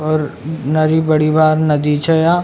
और नरी बड़ी बार नदी छे यहाँ।